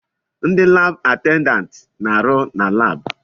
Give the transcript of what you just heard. Ndi laabụ atendantị na-arụ na laabụ.